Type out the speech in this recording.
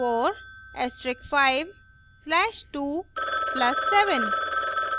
4 asterisk 5 slash 2 plus 7